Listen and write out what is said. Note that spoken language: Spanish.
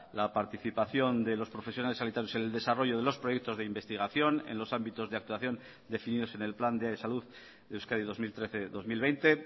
la participación de los profesionales sanitarios en el desarrollo de los proyectos de investigación en los ámbitos de actuación definidos en el plan de salud de euskadi dos mil trece dos mil veinte